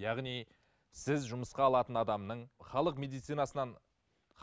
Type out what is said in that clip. яғни сіз жұмысқа алатын адамның халық медицинасынан